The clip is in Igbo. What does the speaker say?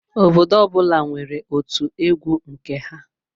Obodo ọbula nwèrè ótụ egwu nke ha.